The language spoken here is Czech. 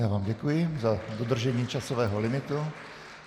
Já vám děkuji za dodržení časového limitu.